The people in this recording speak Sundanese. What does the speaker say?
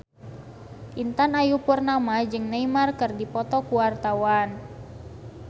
Intan Ayu Purnama jeung Neymar keur dipoto ku wartawan